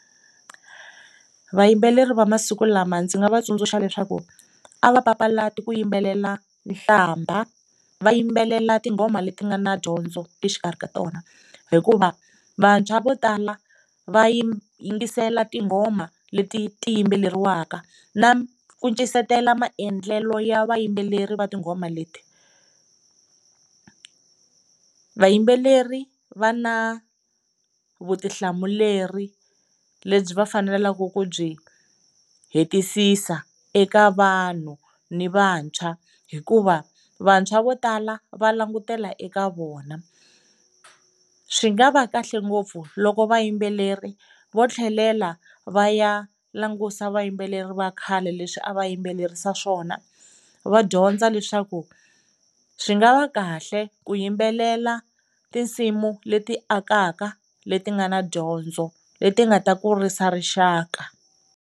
Vayimbeleri va masiku lama ndzi nga va tsundzuxa leswaku a va papalati ku yimbelela nhlamba va yimbelela tinghoma leti nga na dyondzo exikarhi ka tona hikuva vantshwa vo tala va yingisela tinghoma leti ti yimbeleriwaka na ku maendlelo ya vayimbeleri va tinghoma leti. Vayimbeleri va na vutihlamuleri lebyi va faneleke ku byi hetisisiwa eka vanhu ni vantshwa hikuva vantshwa vo tala va langutela eka vona, swi nga va kahle ngopfu loko vayimbeleri vo tlhelela va ya langusa vayimbeleri va khale leswi a va yimbelerisa swona va dyondza leswaku swi nga va kahle ku yimbelela tinsimu leti akaka leti nga na dyondzo leti nga ta kurisa rixaka.